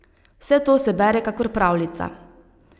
Vse to se bere kakor pravljica.